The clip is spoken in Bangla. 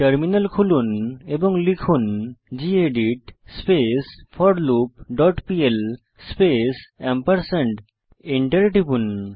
টার্মিনাল খুলুন এবং লিখুন গেদিত স্পেস forloopপিএল স্পেস Enter টিপুন